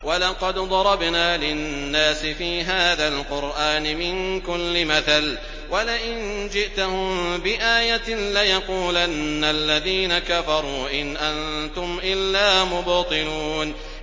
وَلَقَدْ ضَرَبْنَا لِلنَّاسِ فِي هَٰذَا الْقُرْآنِ مِن كُلِّ مَثَلٍ ۚ وَلَئِن جِئْتَهُم بِآيَةٍ لَّيَقُولَنَّ الَّذِينَ كَفَرُوا إِنْ أَنتُمْ إِلَّا مُبْطِلُونَ